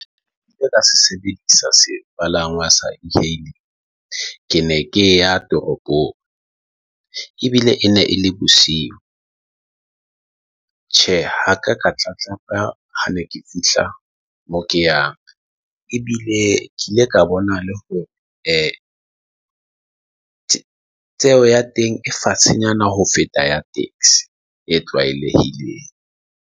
Ka se sebedisa sepalangwa se e-hail. Ke ne ke ya toropong ebile e ne e le bosiu. Tjhe, ha ka ka tla hlaka ha ne ke fihla moo ke yang ebile ke ile ka bona le hore e tseo ya teng e fatshenyana ho feta ya taxi e tlwaelehileng.